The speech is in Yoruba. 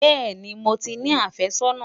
bẹẹni, mó tí ní afe sónà